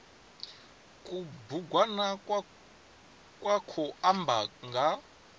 kubugwana kwa khou amba nga